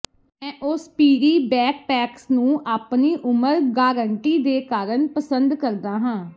ਮੈਂ Osprey backpacks ਨੂੰ ਆਪਣੀ ਉਮਰ ਗਾਰੰਟੀ ਦੇ ਕਾਰਨ ਪਸੰਦ ਕਰਦਾ ਹਾਂ